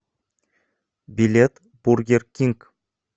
билет бургер кинг